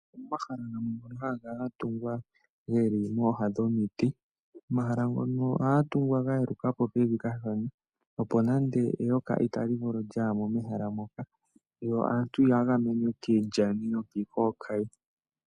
Omahala gamwe ngono haga kala ga tungwa geli mooha dhomiti. Omahala ngano ohaga tungwa ga yeluka po pevi kashona opo nande eyoka itali vulu okuya mo mehala moka yo aantu ya gamenwe kiilyani noki kokayi.